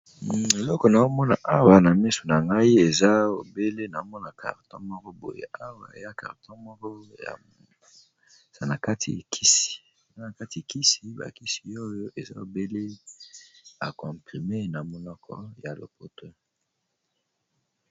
Eloko na omona awa na misu na ngai eza ebele na mona carton moko boye awa eya carton moko ezana kati ikisi bakisi oyo eza obele akomprime na monoko ya lopoto.